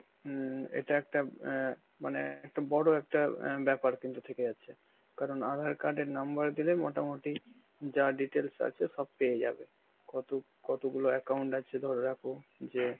হম এটা একটা অ্যাঁ মানে একটা বড় একটা অ্যাঁ ব্যাপার কিন্তু থেকে যাচ্ছে কারণ আঁধার card এর number মোটামুটি যা details আছে সব পেয়ে যাবে, কত~ কতগুলো account আছে ধরে রাখো যে